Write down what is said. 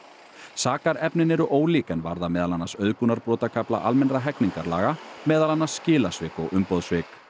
sakarefnin eru ólík en varða meðal annars almennra hegningarlaga meðal annars skilasvik og umboðssvik